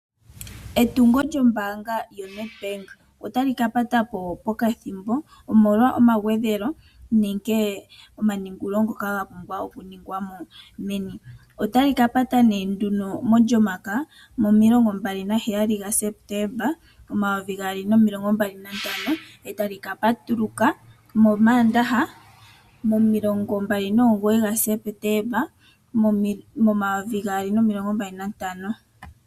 Etungo lyaNEDBANK otali kapatapo ethimbo ehupi omolwa omagwedhelo nomaningululo ngoka gapumbiwa meni. Otali kapata molyomakaya yo27 September 2025, etali kapatuluka momandaha go29 September 2025.